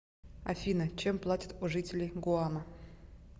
афина чем платят у жителей гуама